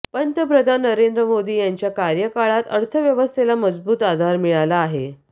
पंतप्रधान नरेंद्र मोदी यांच्या कार्यकाळात अर्थ व्यवस्थेला मजबूत आधार मिळाला आहे